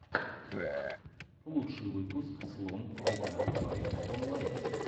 лучший выпуск слон гта файв онлайн